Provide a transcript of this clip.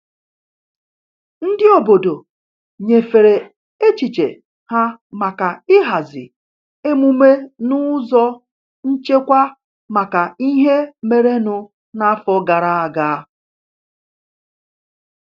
Ndị obodo nyefere echiche ha maka ịhazi emume n'ụzọ nchekwa maka ihe merenụ n'afọ gara aga.